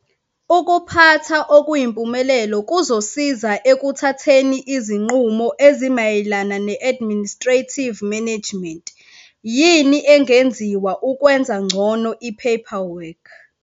Ukuphatha okuyimpumelelo kuzosiza ekuthatheni izinqumo ezimayelana ne-administrative management - yini engenziwa ukwenza ngcono i-paperwork?